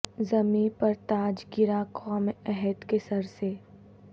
زمیں پہ تاج گرا قوم عہد کے سر سے